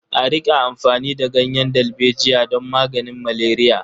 A riƙa amfani da ganyen dalbejiya don maganin maleriya.